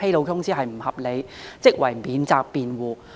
首先，合理辯解是免責辯護。